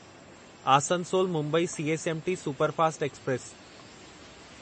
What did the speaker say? Asansol Mumbai CSMT superfast express